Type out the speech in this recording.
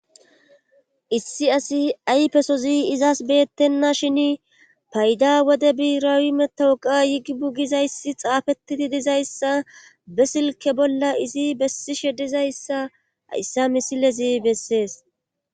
Issi asi ayfesozi izas beettenna shin payda wode biraawi metowuqa yigi bugizayssi xaafettidi dizayssa be silke bolla izi bessi shedizayssa ayssa misilezi bessees.